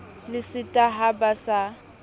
le seta ha ba sa